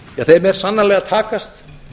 þeim er sannarlega að takast